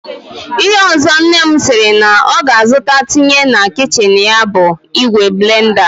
Ihe ọzọ nne m sịrị na ọ ga-azụta tinye na kichin ya bụ ìgwè blenda